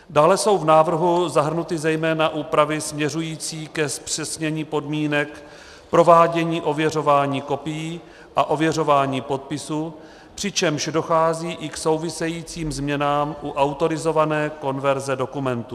Dále jsou v návrhu zahrnuty zejména úpravy směřující ke zpřesnění podmínek provádění ověřování kopií a ověřování podpisů, přičemž dochází i k souvisejícím změnám u autorizované konverze dokumentů.